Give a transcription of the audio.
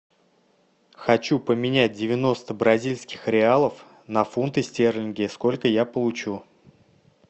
хочу поменять девяносто бразильских реалов на фунты стерлинги сколько я получу